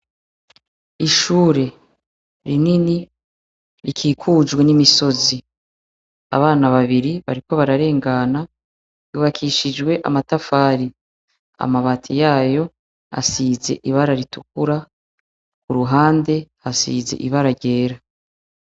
Ishuri rinini rikikujwe n' imisozi abana babiri bariko bararengana yubakishijwe amatafari amabati yayo asize ibara ritukura iruhande asize ibara ryera.